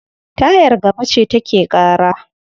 Tayar gaba ce take ƙara.